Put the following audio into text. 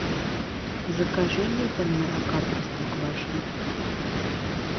закажи литр молока простоквашино